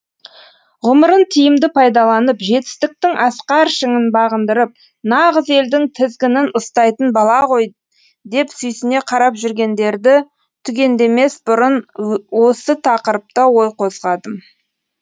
ғұмырын тиімді пайдаланып жетістіктің асқар шыңын бағындырып нағыз елдің тізгінін ұстайтын бала ғой деп сүйсіне қарап жүргендерді түгендемес бүрын осы тақырыпта ой қозғадым